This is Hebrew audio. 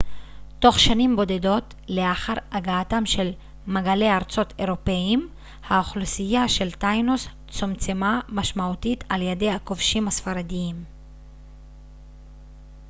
תוך שנים בודדות לאחר הגעתם של מגלי ארצות אירופאיים האוכלוסייה של טיינוס צומצמה משמעותית על ידי הכובשים הספרדים